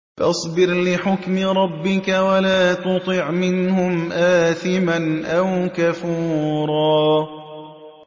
فَاصْبِرْ لِحُكْمِ رَبِّكَ وَلَا تُطِعْ مِنْهُمْ آثِمًا أَوْ كَفُورًا